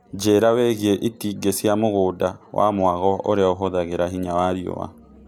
njĩira wĩigie ĩtingi cia mũgunda wa mwago ũrĩa ũhũthagira hĩnya wa rĩua